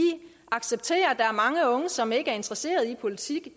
accepterer at der er mange unge som ikke er interesseret i politik